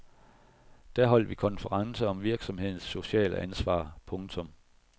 Da holdt vi konference om virksomhedernes sociale ansvar. punktum